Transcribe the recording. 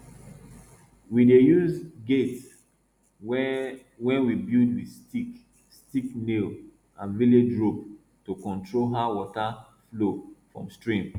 we dey use gate wey wey we build with stick stick nail and village rope to control how water flow from stream